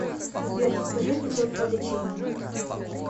сбер расскажи анекдот про лечение